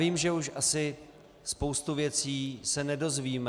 Vím, že už asi spoustu věcí se nedozvíme.